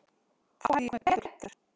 Þá hefði ég komið betur klæddur.